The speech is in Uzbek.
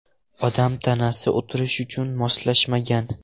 Odam tanasi o‘tirish uchun moslashmagan.